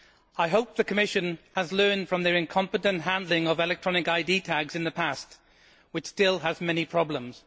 I hope the Commission has learned from their incompetent handling of electronic ID tags in the past, with which there are still many problems.